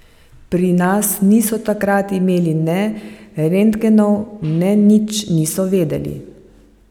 Pri nas niso takrat imeli ne rentgenov ne nič niso vedeli.